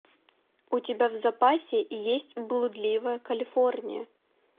у тебя в запасе есть блудливая калифорния